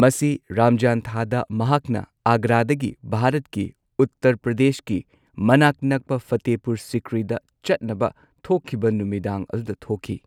ꯃꯁꯤ ꯔꯝꯖꯥꯟ ꯊꯥꯗ ꯃꯍꯥꯛꯅ ꯑꯒ꯭ꯔꯥꯗꯒꯤ ꯚꯥꯔꯠꯀꯤ ꯎꯠꯇꯔ ꯄ꯭ꯔꯗꯦꯁꯀꯤ ꯃꯅꯥꯛ ꯅꯛꯄ ꯐꯇꯦꯍꯄꯨꯔ ꯁꯤꯀ꯭ꯔꯤꯗ ꯆꯠꯅꯕ ꯊꯣꯛꯈꯤꯕ ꯅꯨꯃꯤꯗꯥꯡ ꯑꯗꯨꯗ ꯊꯣꯛꯈꯤ꯫